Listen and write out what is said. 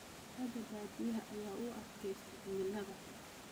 Digaaga baadiyaha ayaa u adkaysta cimilada xun.